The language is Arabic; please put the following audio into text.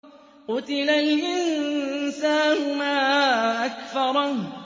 قُتِلَ الْإِنسَانُ مَا أَكْفَرَهُ